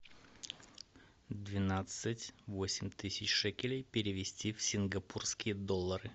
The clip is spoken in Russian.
двенадцать восемь тысяч шекелей перевести в сингапурские доллары